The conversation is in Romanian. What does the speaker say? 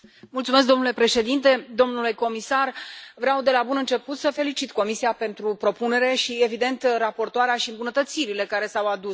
Domnule președinte, domnule comisar, vreau de la bun început să felicit Comisia pentru propunere și, evident, raportoarea și îmbunătățirile care s au adus.